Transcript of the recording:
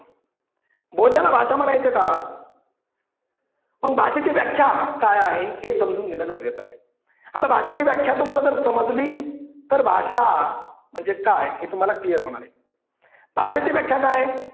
बोलण्याला भाषा म्हणायचं का? मग भाषेची व्याख्या काय आहे हे समजून घेणे गरजेचे आहे. आता भाषेची व्याख्या जर तुम्हाला समजली तर भाषा म्हणजे काय हे तुम्हाला clear होणार आहे. भाषेची व्याख्या काय आहे?